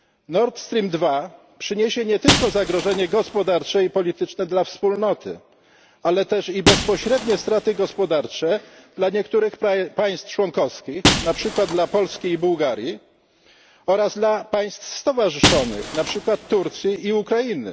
Nord Stream II przyniesie nie tylko zagrożenie gospodarcze i polityczne dla Wspólnoty, ale też bezpośrednie straty gospodarcze dla niektórych państw członkowskich, na przykład dla Polski i Bułgarii, oraz dla państw stowarzyszonych, na przykład Turcji i Ukrainy.